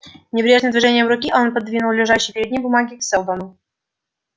небрежным движением руки он пододвинул лежащие перед ним бумаги к сэлдону